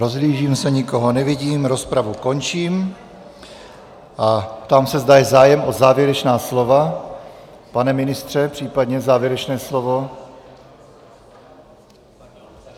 Rozhlížím se, nikoho nevidím, rozpravu končím a ptám se, zda je zájem o závěrečná slova, pane ministře, případně závěrečné slovo.